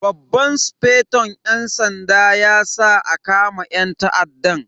Babban sufeton yan sanda ya sa a kama yan ta'addan.